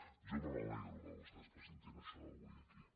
jo me n’alegro que vostès presentin això avui aquí